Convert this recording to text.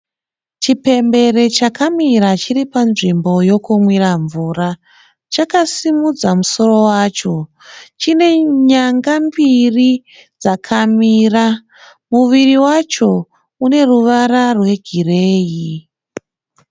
Chipembere chakamira chiri panzvimbo yekumwira mvura. Chakasimudza musoro wacho. Chinenyanga mbiri dzakamira. Muviri wacho uneruvara rwegireyi.